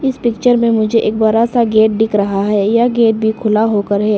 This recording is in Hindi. इस पिक्चर में मुझे एक बड़ा सा गेट दिख रहा है यह गेट भी खुला होकर है।